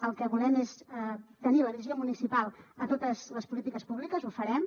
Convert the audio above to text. el que volem és tenir la visió municipal a totes les polítiques públiques ho farem